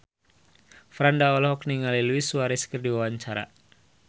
Franda olohok ningali Luis Suarez keur diwawancara